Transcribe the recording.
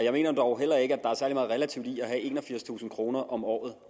jeg mener heller ikke er særlig meget relativt i at have enogfirstusind kroner om året